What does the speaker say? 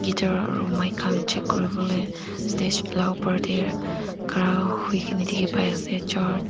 guitar aro mix khan check kuriwolae stage la opor tae khara hoikae na dikhi paiase--